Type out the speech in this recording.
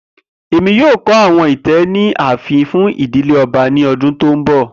Emi yoo kọ awọn itẹ ni aafin fun idile ọba ni ọdun ti n bọ.